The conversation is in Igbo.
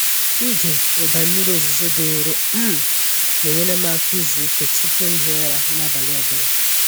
Ịge ụda mmiri ozuzo dị nro um na-enyere m aka izu ike tupu m hie ụra n’abalị ọ bụla.